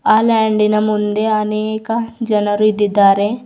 ಆ ಲ್ಯಾಂಡಿನ ಮುಂದೆ ಅನೇಕ ಜನರು ಇದ್ದಿದ್ದಾರೆ.